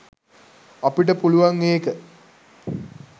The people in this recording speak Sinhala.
අපිට පුළුවන් ඒක